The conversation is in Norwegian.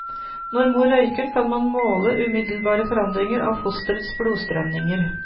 Når mor røyker kan man måle umiddelbare forandringer av fosterets blodstrømninger.